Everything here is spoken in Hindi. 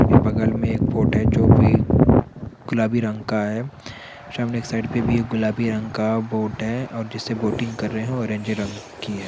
बगल में एक बोट है जो की गुलाबी रंग का है सामने एक साइड पे भी एक गुलाबी रंग का बोट है और जिस से बोटिंग कर रहे है ओरेंज रंग की है।